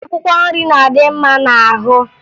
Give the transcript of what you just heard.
Akwụkwọ nri na-adị mma n'ahụ